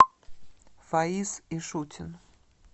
фаиз ишутин